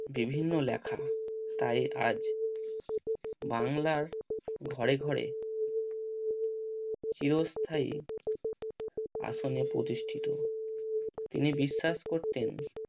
বিভিন্ন লেখা তাই আজ বাংলার ঘরে ঘরে চিরস্থায়ী আসনে প্রতিষ্ঠিত। তিনি বিশ্বাস করতেন